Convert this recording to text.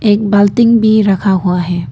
एक बाल्टिंग भी रखा हुआ है।